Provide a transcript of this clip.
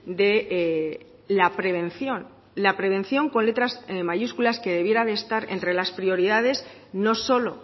de la prevención la prevención con letras mayúsculas que debiera de estar entre las prioridades no solo